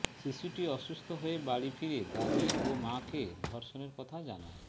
শিশুটি অসুস্থ হয়ে বাড়ি ফিরে দাদি ও মাকে ধর্ষণের কথা জানায়